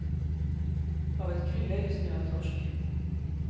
Havet kryllar just nu av torsk.